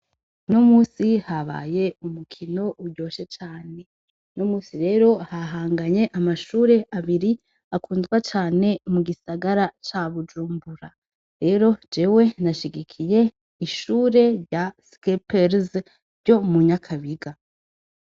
Unomunsi habaye umukino iryoshe cane, unomunsi rero hahanganye amashure abiri akundwa cane mu gisagara ca Bujumbura. Rero jewe nashigikiye ishure rya Skeppers ryo mu Nyakabiga.